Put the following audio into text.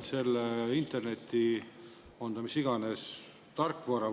Kas selle tarkvara